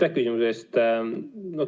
Aitäh küsimuse eest!